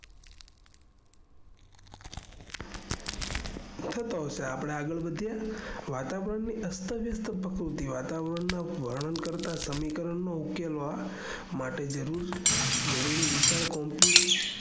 થતો હશે આપણે આગળ વધીયે વાતાવરણ ની અસ્તવ્યસ્ત પ્રકૃતિ વાતાવરણ નું વર્ણન કરતા સમીકરને ઉકેલવા માટે જરૂરી વિશાલ